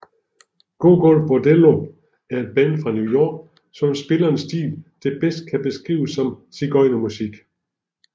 Gogol Bordello er et band fra New York som spiller en stil der bedst kan beskrives som sigøjnerpunk